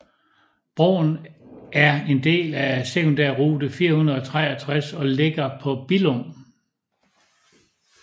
Broen er en del af Sekundærrute 463 og ligger tæt på Billum